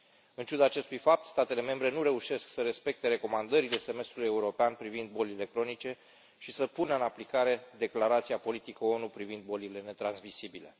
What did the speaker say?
În ciuda acestui fapt, statele membre nu reușesc să respecte recomandările semestrului european privind bolile cronice și să pună în aplicare declarația politică a ONU privind bolile netransmisibile.